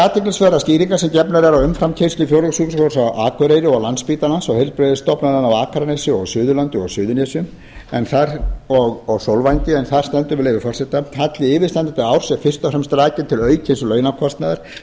athyglisverðar skýringar sem gefnar eru á umframkeyrslu fjórðungssjúkrahússins á akureyri landspítalans og heilbrigðisstofnana á akranesi suðurlandi suðurnesjum og sólvangi en þar stendur með leyfi forseta halli yfirstandandi árs er fyrst og fremst rakinn til aukins launakostnaðar